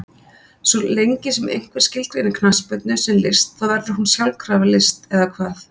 Svo lengi sem einhver skilgreinir knattspyrnu sem list þá verður hún sjálfkrafa list, eða hvað?